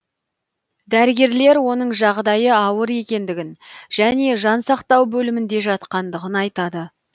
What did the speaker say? дәрігерлер оның жағдайы ауыр екендігін және жансақтау бөлімінде жатқандығын айтады